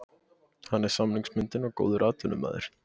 Hann er samningsbundinn og góður atvinnumaður.